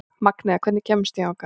Magnea, hvernig kemst ég þangað?